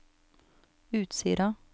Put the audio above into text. Utsira